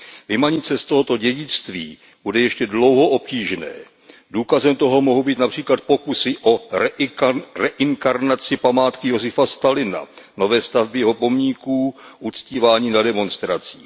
Vymanit se z tohoto dědictví bude ještě dlouho obtížné. Důkazem toho mohou být například pokusy o reinkarnaci památky Josifa Stalina, nové stavby jeho pomníků, uctívání na demonstracích.